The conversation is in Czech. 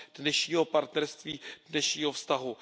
dnešního partnerství, dnešního vztahu.